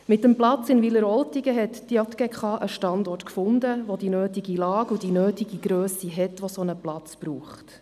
Mit dem Platz in Wileroltigen hat die JGK einen Standort gefunden, der die nötige Lage und die nötige Grösse hat, die es für einen solchen Platz braucht.